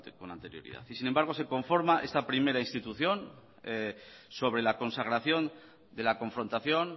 con anterioridad y sin embargo se conforma esta primera institución sobre la consagración de la confrontación